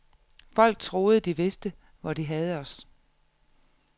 Folk troede, de vidste, hvor de havde os.